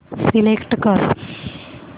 select कर